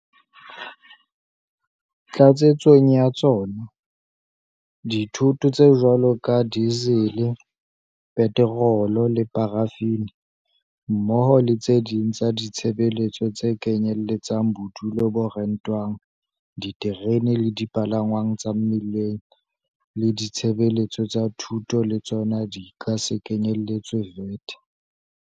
Tlatsetsong ya tsona, dithoto tse jwalo ka dizele, petorolo le parafini, mmoho le tse ding tsa ditshebeletso tse kenyelletsang bodulo bo rentwang, diterene le dipalangwang tsa mmileng le ditshebeletso tsa thuto le tsona di ka se kenyeletswe VAT.